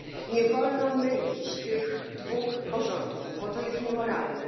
Nie wolno mylić tych dwóch porządków, bo to jest niemoralne.